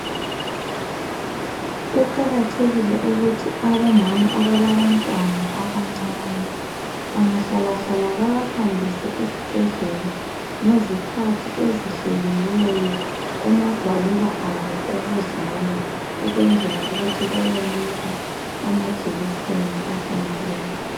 Kuqakathekile ukuthi abomama abalabantwana abancane bangahlala hlala babahambise esibhedlela ngezikhathi ezihleliweyo kumagwaliba abo okuzalwa ukwenzela ukuthi bayenikwa amajekiseni afaneleyo.